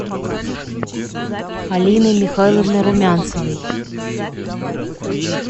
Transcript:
алины михайловны румянцевой